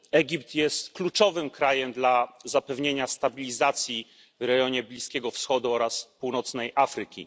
Egipt jest kluczowym krajem dla zapewnienia stabilizacji w rejonie Bliskiego Wschodu oraz północnej Afryki.